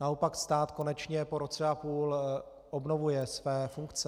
Naopak stát konečně po roce a půl obnovuje své funkce.